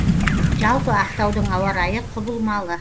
жалпы ақтаудың ауа райы құбылмалы